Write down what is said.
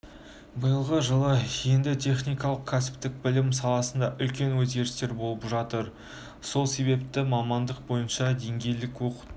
биылғы жылы енді техникалық-кәсіптік білім саласында үлкен өзгерістер болып жатыр сол себепті мамандық бойынша деңгейлік оқыту